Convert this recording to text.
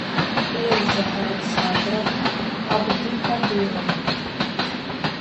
эльза александровна абдыкадырова